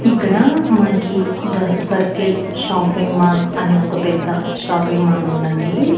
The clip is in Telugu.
ఇక్కడ మనకి డ్రెస్ సర్కిల్ షాపింగ్ మాల్ అనే ఒక పెద్ద షాపింగ్ మాల్ ఉందండి.